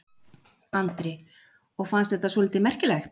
Andri: Og fannst þetta svolítið merkilegt?